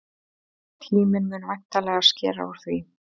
Tíminn mun væntanlega skera úr því.